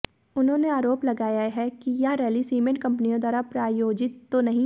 उन्होंने आरोप लगाया कि यह रैली सीमेंट कंपनियों द्वारा ही प्रायोजित तो नहीं है